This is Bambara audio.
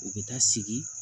U bɛ taa sigi